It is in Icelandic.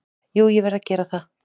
Jú ég verð að vera það.